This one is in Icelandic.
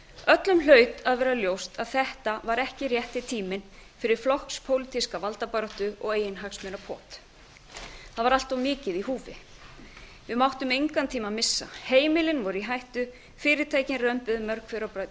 öllum hlaut að vera ljóst að þetta var ekki rétti tíminn fyrir flokkspólitíska valdabaráttu og eiginhagsmunapot það var allt of mikið í húfi við máttum engan tíma missa heimilin voru í hættu fyrirtækin römbuðu mörg hver á